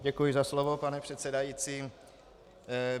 Děkuji za slovo, pane předsedající.